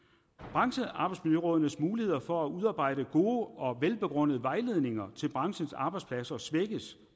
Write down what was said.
branchearbejdsmiljørådenes muligheder for at udarbejde gode og velbegrundede vejledninger til branchens arbejdspladser svækkes